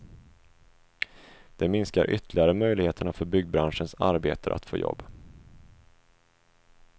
Det minskar ytterligare möjligheterna för byggbranschens arbetare att få jobb.